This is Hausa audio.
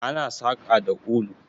Ana saƙa da ulu.